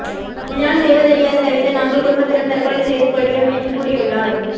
இதனால் செய்வதறியாது தவித்த நாங்கள் குடும்பத்துடன் தற்கொலை செய்து கொள்கிறோம் என்று கூறியுள்ளார்